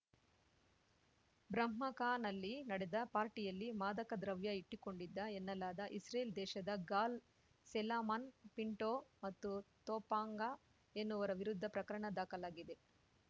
ಬ್ರಹ್ಮಕಾನಲ್ಲಿ ನಡೆದ ಪಾರ್ಟಿಯಲ್ಲಿ ಮಾದಕದ್ರವ್ಯ ಇಟ್ಟಿಕೊಂಡಿದ್ದ ಎನ್ನಲಾದ ಇಸ್ರೇಲ್‌ ದೇಶದ ಗಾಲ್‌ ಸೆಲಮನ್‌ ಪಿಂಟೋ ಮತ್ತು ತೊಪಾಂಗ ಎನ್ನುವರ ವಿರುದ್ಧ ಪ್ರಕರಣ ದಾಖಲಾಗಿದೆ